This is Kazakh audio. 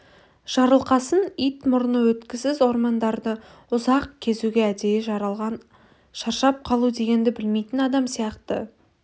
жарылқасын ит мұрны өткісіз ормандарды ұзақ кезуге әдейі жаралған шаршап қажу дегенді білмейтін адам сияқты